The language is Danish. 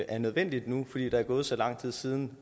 er nødvendigt nu fordi der er gået så lang tid siden